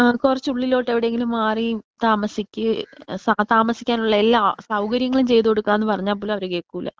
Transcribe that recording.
കുറച്ച് ഉള്ളിലോട്ട് എവിടെയെങ്കിലും മാറി താമസിക്കെ സാ താമസിക്കാൻ ഉള്ള എല്ലാ സൗകര്യങ്ങളും ചെയ്ത് കൊടുക്കാ എന്ന് പറഞ്ഞ പോലും അവര് കേൾക്കൂല.